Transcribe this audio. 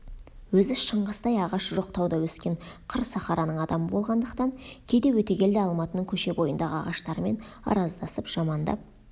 өзі шыңғыстай ағашы жоқ тауда өскен қыр сахараның адамы болғандықтан кейде өтегелді алматының көше бойындағы ағаштарымен араздасып жамандап